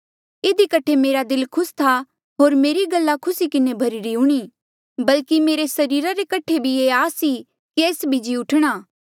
इधी कठे मेरा दिल खुस था होर मेरी गल्ला खुसी किन्हें भरीरी हूणीं बल्कि मेरे सरीरा रे कठे भी ये आस ई कि एस भी जी उठणा